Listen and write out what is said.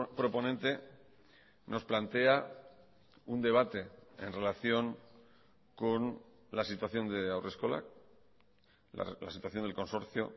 proponente nos plantea un debate en relación con la situación de haurreskolak la situación del consorcio